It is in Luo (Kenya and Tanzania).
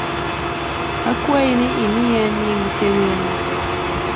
akwai ni imiya nying chenro na te